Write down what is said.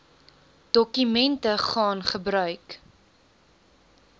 dokumente gaan gebruik